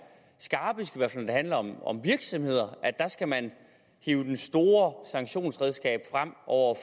skarpest i hvert fald når det handler om om virksomheder der skal man hive det store sanktionsredskab frem over